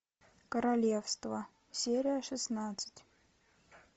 королевство серия шестнадцать